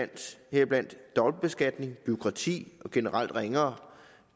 heriblandt dobbeltbeskatning bureaukrati og generelt ringere